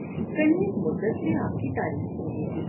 کنیز مدت سے آپ کی تعریف سنتی تھی ۔